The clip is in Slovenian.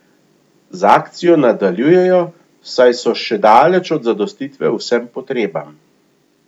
Z akcijo nadaljujejo, saj so še daleč od zadostitve vsem potrebam.